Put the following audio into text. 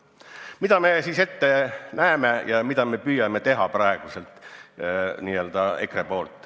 Mida me siis EKRE-s ette näeme ja mida me püüame teha?